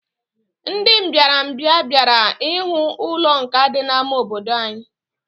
Ndị mbịarambịa bịara ihu ụlọ nkà dị n'ámá obodo anyị